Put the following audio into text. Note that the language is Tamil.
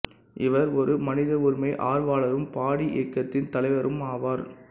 இவர் ஒரு மனித உரிமை ஆர்வலரும் பாடி இயக்கத்தின் தலைவரும் ஆவார்